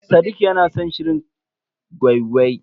Sadiq ya na san shirin gwai-gwai.